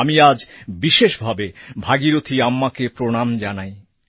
আমি আজ বিশেষভাবে ভাগীরথী আম্মাকে প্রণাম জানাই